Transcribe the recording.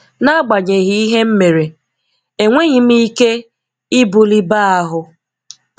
Nagbanyeghị ihe m mere, enweghị m Ike ibuli baa ahụ.